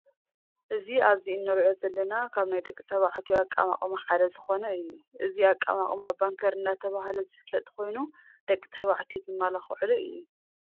እዚ ኣብዚ እንርእዮ ዘለና ካብ ናይ ደቂ ተባዕትዮ ኣቀማቅማ ሓደ ዝኮነ እዩ። እዚ ኣቀማቅማ ባንከር እንዳተባሃለ ዝፍለጥ ኮይን ደቂ ተባዕትዮ ዝመላክዕሉ እዩ።